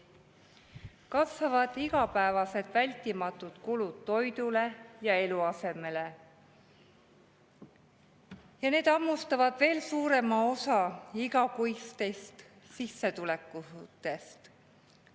Kasvavad igapäevased vältimatud kulud toidule ja eluasemele, ja need hammustavad veel suurema osa igakuistest sissetulekutest.